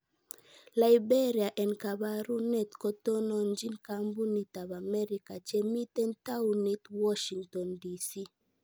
Liberia en kabarunet kotononjin kambuniit ab Amerika chemiten towuunit Washington DC.